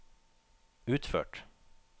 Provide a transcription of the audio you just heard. utført